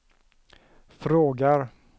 frågar